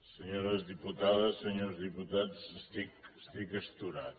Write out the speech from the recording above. senyores diputades senyors diputats estic astorat